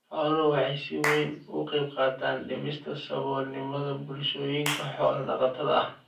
Xooluhu waxay si weyn uga qaybqaataan dhimista saboolnimada bulshooyinka xoolo-dhaqatada ah.